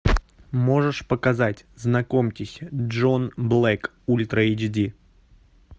можешь показать знакомьтесь джон блэк ультра эйч ди